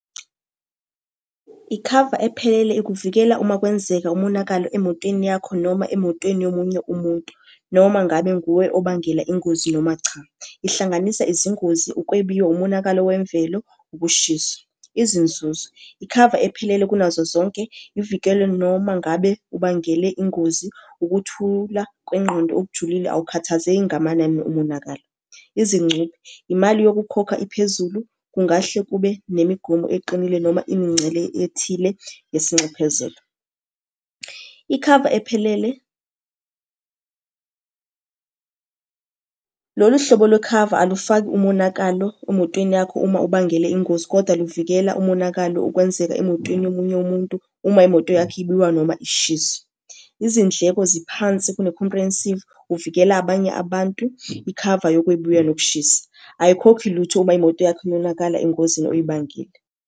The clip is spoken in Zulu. Ikhava ephelele ikuvikela uma kwenzeka umonakalo emotweni yakho noma emotweni yomunye umuntu, noma ngabe nguwe obangela ingozi noma cha. Ihlanganisa izingozi, ukwebiwa, umonakalo wemvelo, ukushiswa. Izinzuzo, ikhava ephelele kunazo zonke ivikelwe noma ngabe ubangele ingozi, ukuthula kwengqondo okujulile. Awukhathazeki ngamanani omonakalo. Izincuphe, imali yokukhokha iphezulu, kungahle kube nemigomo eqinile noma imingcele ethile yesinxephezelo. Ikhava ephelele, lolu hlobo lwekhava alufaki umonakalo emotweni yakho uma ubangele ingozi, koda luvikela umonakalo ukwenzeka emotweni yomunye umuntu uma imoto yakho noma ishisa. Izindleko ziphansi kune-comprehensive, uvikela abanye abantu ikhava yokwebiwa nokushisa. Ayikhokhi lutho uma imoto yakho yonakala engozini oyibangile.